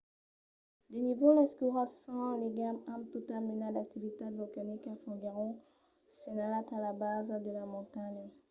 de nívols escuras sens ligam amb tota mena d'activitat volcanica foguèron senhalats a la basa de la montanha